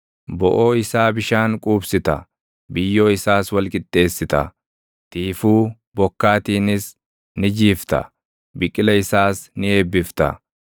Boʼoo isaa bishaan quubsita; biyyoo isaas wal qixxeessita; tiifuu bokkaatiinis ni jiifta; biqila isaas ni eebbifta.